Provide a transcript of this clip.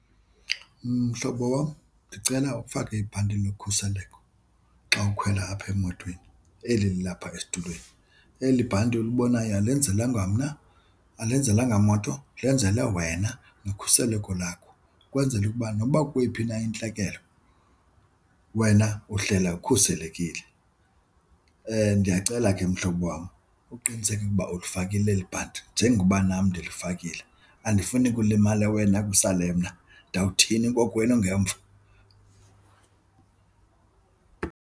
Mhlobo wam, ndicela ufake ibhanti lokhuseleko xa ukhwela apha emotweni, eli lilapha esitulweni. Eli bhanti ulibonayo alenzelwanga mna, alenzelwanga moto, lenzelwe wena nokhuseleko lakho, ukwenzela ukuba noba ukweyiphi na intlekele wena uhlela ukhuselekile. Nndiyacela ke mhlobo wam uqiniseke ukuba ulifakile eli bhanti njengoba nam ndilifakile. Andifuni kulimale wena kusale mna. Ndawuthini kokwenu ngemva?